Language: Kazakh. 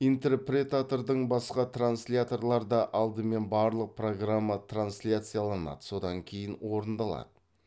интерпретатордан басқа трансляторларда алдымен барлық программа трансляцияланады содан кейін орындалады